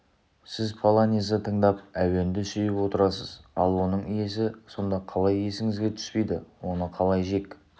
сіз полонезді тыңдап әуенді сүйіп отырасыз ал оның иесі сонда қалай есіңізге түспейді оны қалай жек